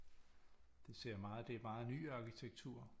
Det ser meget det er meget ny arkitektur